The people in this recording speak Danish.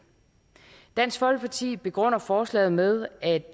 dansk folkeparti begrunder forslaget med at